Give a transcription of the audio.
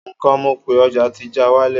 nko mọ pé ọja ti já walẹ